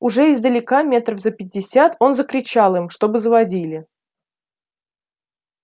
уже издалека метров за пятьдесят он закричал им чтобы заводили